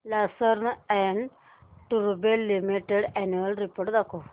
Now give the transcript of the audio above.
Larsen and टुर्बो limited annual report दाखव